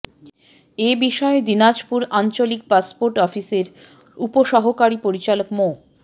এ বিষয়ে দিনাজপুর আঞ্চলিক পাসপোর্ট অফিসের উপসহকারী পরিচালক মো